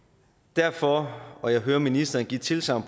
derfor og jeg hører ministeren give tilsagn